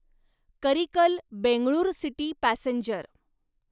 Karikal Bengaluru city passenger